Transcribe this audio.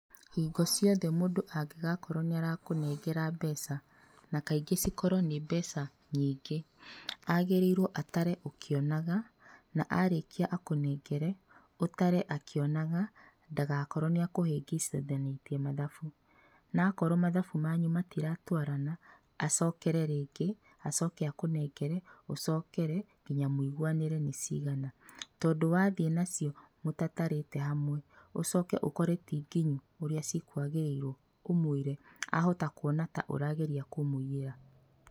Hingo ciothe mũndũ angĩkorwo nĩ arakũnengera mbeca, na kaingĩ cikorwo nĩ mbeca nyingĩ, agĩrĩirwo atare ũkĩonaga, na arĩkia akũnengere ũtare akionaga ndagakorwo nĩ akũhĩngĩcithanĩtie mathabu, na akorwo mathabu manyu matiratwarana, acokere rĩngĩ acoke akũnengere ucokere nginya mũiguanĩre nĩ cigana, tondũ wathiĩ nacio mũtatarĩte hamwe ũcoke ũkore ti nginyu ũrĩa cikwagĩrĩirwo ũmwĩre ahota kuona ta ũrageria kũmũiyĩra.